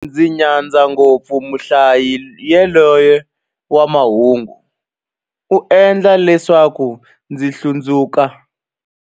Ndzi nyadza ngopfu muhlayi yaloye wa mahungu, u endla leswaku ndzi hlundzuka.